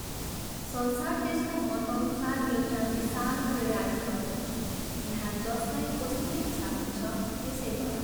संसार त्यसको मतअनुसार एउटा विशाल क्रीडास्थल हो यहाँ जसलाई जस्तो इच्छा हुन्छ त्यसै गर।